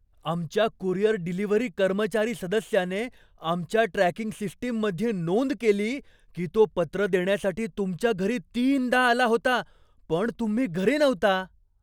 आमच्या courier delivery कर्मचारी सदस्याने आमच्या ट्रॅकिंग सिस्टीममध्ये नोंद केली की तो पत्र देण्यासाठी तुमच्या घरी तीनदा आला होता, पण तुम्ही घरी नव्हता.